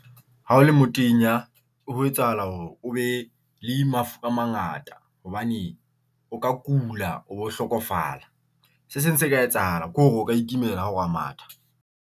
Ha o le motenya ho etsahala hore o be le mafura a mangata hobane o ka kula, o bo hlokofala. Se seng se ka etsahala ke hore o ka itumela ha o re o ya matha.